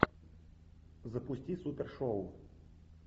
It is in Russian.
запусти супер шоу